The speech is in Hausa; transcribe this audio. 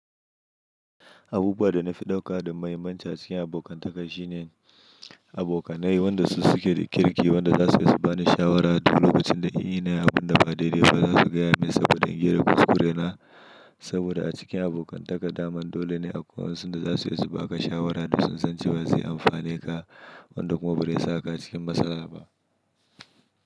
Abuwa da na fi dauka da muhimmanci a cikin abokantaka shine abokanai wanda su suke da kirki wanda za su iya su ba ni shawara duk lokacin da ina yin abin da ba dai dai ba za su gaya min saboda ingera kuskurena saboda a cikin abokantaka daman dole ne akwai waɗanda za su iya su ba ka shawara duk sun san cewa zai amfaneka wanda kuma bai sa ka cikin matsala ba.